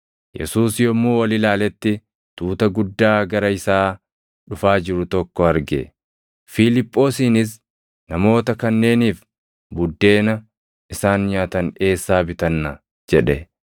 Yesuus yommuu ol ilaaletti tuuta guddaa gara isaa dhufaa jiru tokko arge; Fiiliphoosiinis, “Namoota kanneeniif buddeena isaan nyaatan eessaa bitanna?” jedhe.